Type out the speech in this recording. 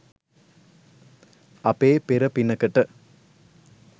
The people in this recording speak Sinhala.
අපේ පෙර පිනකට